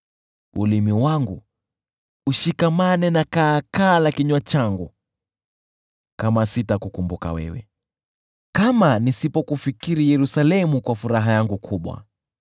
Ulimi wangu ushikamane na kaakaa la kinywa changu kama sitakukumbuka wewe, kama nisipokufikiri Yerusalemu kuwa furaha yangu kubwa.